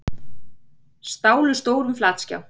Stálu stórum flatskjá